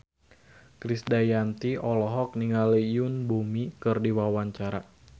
Krisdayanti olohok ningali Yoon Bomi keur diwawancara